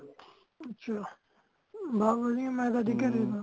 ਅੱਛਾ ਬਾ ਵਦੀਆਂ ਮੇਂ ਕਦੀ ਘਰੇ ਤਾ